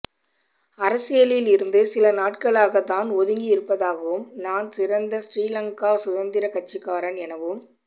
அரசியலில் இருந்து சில நாட்களாக தான் ஒதுங்கி இருப்பதாகவும் தான் சிறந்த ஸ்ரீலங்கா சுதந்திரக் கட்சிக்காரன் எனவும்